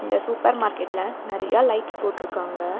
இந்த சூப்பர் மார்க்கெட்ல நெறையா லைட்ஸ் போட்ருக்காங்க.